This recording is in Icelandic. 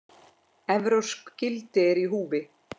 Evrópsk gildi eru í húfi.